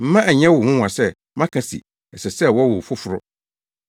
Mma ɛnyɛ wo nwonwa sɛ maka se ɛsɛ sɛ wɔwo wo foforo!